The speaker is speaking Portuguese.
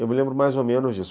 Eu me lembro mais ou menos disso.